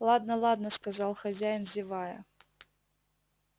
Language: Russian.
ладно ладно сказал хозяин зевая